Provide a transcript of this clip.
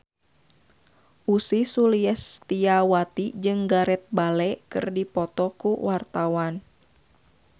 Ussy Sulistyawati jeung Gareth Bale keur dipoto ku wartawan